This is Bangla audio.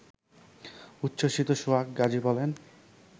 উচ্ছসিত সোহাগ গাজী বলেন